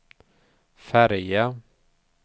färja